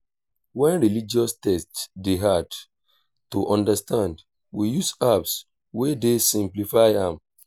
when religious text dey hard to understand we use apps wey dey simplify am